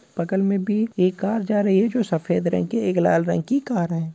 बगल में भी एक कार जा रही है जो सफेद रंग की एक लाल रंग की कार है।